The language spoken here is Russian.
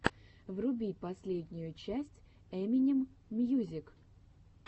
вруби последнюю часть эминем мьюзик